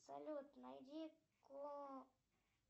салют найди